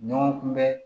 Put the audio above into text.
Ɲɔgɔn kunbɛn